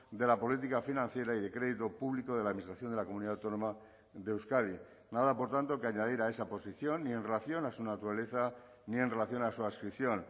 de la política financiera y de crédito público de la administración de la comunidad autónoma de euskadi nada por tanto que añadir a esa posición ni en relación a su naturaleza ni en relación a su adscripción